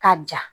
Ka ja